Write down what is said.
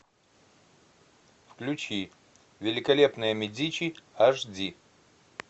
включи великолепные медичи аш ди